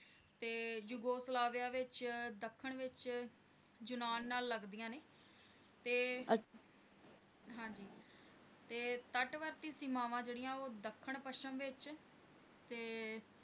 ਤੇ Yugoslavia ਵਿਚ ਦੱਖਣ ਵਿਚ ਲਗਦੀਆਂ ਨੇ ਹਾਂਜੀ ਤੇ ਹਾਂਜੀ ਤੇ ਤੱੜਵਾਦ ਦੀ ਸੀਮਾਵਾਂ ਜਿਹੜੀਆਂ ਉਹ ਦੱਖਣ ਪੱਛਮ ਵਿਚ ਤੇ